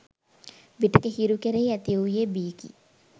විටෙක හිරු කෙරෙහි ඇති වූයේ බියකි